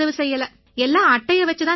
எல்லாம் அட்டையை வச்சுத் தான் நடந்திச்சு